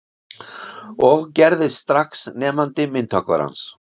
Og gerðist strax nemandi myndhöggvarans